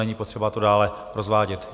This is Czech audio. Není potřeba to dále rozvádět.